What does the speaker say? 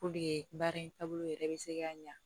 Puruke baara in taabolo yɛrɛ bɛ se ka ɲa